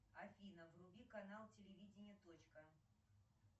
афина вруби канал телевидение точка